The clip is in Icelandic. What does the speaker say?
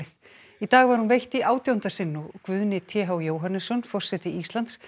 í dag var hún veitt í átjánda sinn og það Guðni t h Jóhannesson forseti Íslands